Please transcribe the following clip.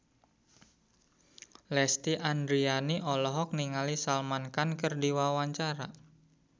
Lesti Andryani olohok ningali Salman Khan keur diwawancara